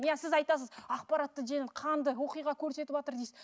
иә сіз айтасыз ақпаратты қанды оқиға көсетіватыр дейсіз